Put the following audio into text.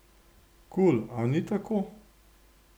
Kul, a ni tako?